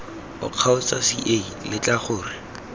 oo kgotsa ca letla gore